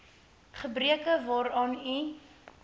gebreke waaraan u